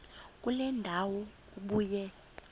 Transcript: kule ndawo ubuye